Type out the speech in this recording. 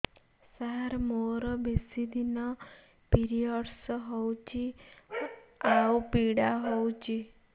ସାର ମୋର ବେଶୀ ଦିନ ପିରୀଅଡ଼ସ ହଉଚି ଆଉ ପୀଡା ହଉଚି